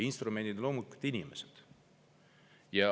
Instrumendid on loomulikult inimesed.